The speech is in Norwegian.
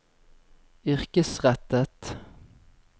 yrkesrettet